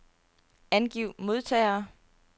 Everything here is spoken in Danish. Angiv modtagere.